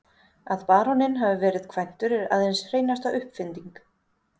Að baróninn hafi verið kvæntur er aðeins hreinasta uppfinding.